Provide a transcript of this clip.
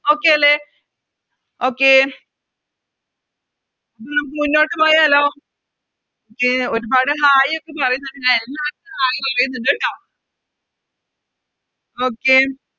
Okay അല്ലെ Okay മുന്നോട്ട് പോയാലോ ഒരുപാട് Hai ഒക്കെ പറയുന്നുണ്ട് എല്ലാർക്കും Hai പറയുന്നുണ്ട് ട്ടോ Okay